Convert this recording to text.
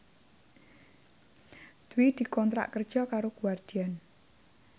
Dwi dikontrak kerja karo Guardian